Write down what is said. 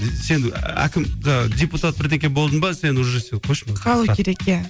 сен әкім ыыы депутат бірдеңе болдың ба сен уже сен қойшы қалу керек иә